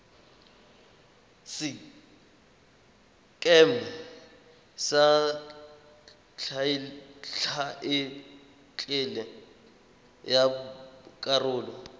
sekeme sa thaetlele ya karolo